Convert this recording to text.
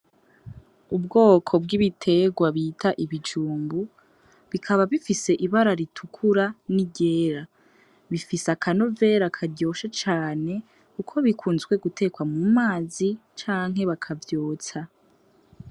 Ubwoko bw'ibiterwa bita ibijumbu, bikaba bifise ibara ritukura n'iryera. Bifise akanovera karyoshe cane kuko bikunzwe gutekwa mu mazi canke bakavyotsa.